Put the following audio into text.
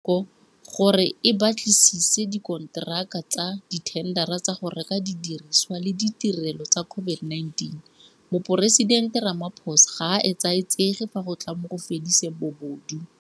Nko, gore e batlisise dikonteraka tsa dithendara tsa go reka didirisiwa le ditirelo tsa COVID-19, Moporesidente Ramaphosa ga a etsaetsege fa go tla mo go fediseng bobodu.